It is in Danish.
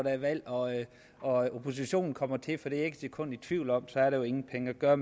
er valg og og oppositionen kommer til for det er et sekund i tvivl om så er der jo ingen penge at gøre